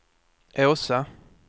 Åsa